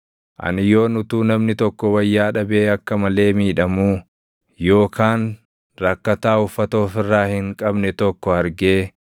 Ani yoon utuu namni tokko wayyaa dhabee akka malee miidhamuu, yookaan rakkataa uffata of irraa hin qabne tokko argee